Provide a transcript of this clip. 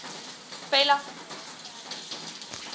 pella dra verder